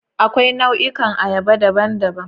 Akwai nau'ikan ayaba daban-daban.